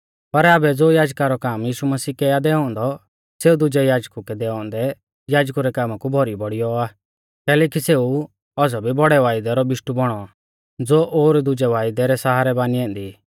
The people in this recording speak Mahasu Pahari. पर आबै ज़ो याजका रौ काम यीशु मसीह कै आ दैऔ औन्दौ सेऊ दुजै याजकु कै दैऔ औन्दै याजकु रै कामा कु भौरी बौड़ियौ आ कैलैकि सेऊ औज़ौ भी बौड़ै वायदै रौ बिशटु बौणौ ज़ो ओर दुजै वायदै रै सहारै बानी ऐन्दी